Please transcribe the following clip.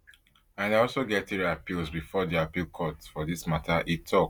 and i also get three appeals bifor di appeal court for dis matter e tok